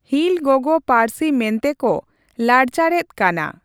ᱦᱤᱞ ᱜᱚᱜᱚ ᱯᱟᱹᱞᱨᱥᱤ ᱢᱮᱱᱛᱮ ᱠᱚ ᱞᱟᱲᱪᱟᱲᱼᱮᱫ ᱠᱟᱱᱟ᱾